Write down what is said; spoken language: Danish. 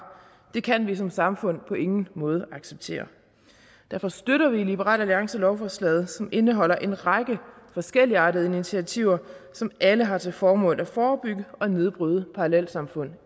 det kan vi som samfund på ingen måde acceptere derfor støtter vi i liberal alliance lovforslaget som indeholder en række forskelligartede initiativer som alle har til formål at forebygge og nedbryde parallelsamfund